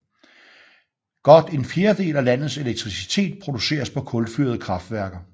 Godt en fjerdedel af landets elektricitet produceres på kulfyrede kraftværker